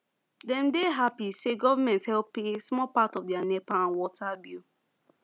them dey happy say government help pay small part of their nepa and water bill